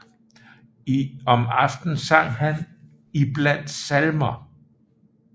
Om aftenen sang han iblandt salmer